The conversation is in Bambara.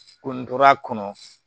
Ko n tora kɔnɔ